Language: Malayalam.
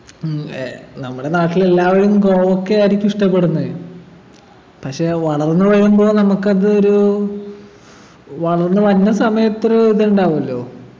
ഉം ഏർ നമ്മുടെ നാട്ടിലെല്ലാവരും കോവക്കയായിരിക്കും ഇഷ്ടപ്പെട്ടുന്നത് പക്ഷെ വളർന്നു വരുമ്പോ നമ്മുക്കതൊരു വളർന്നു വരുന്ന സമയത്തൊരു ഇതുണ്ടാവുഅല്ലോ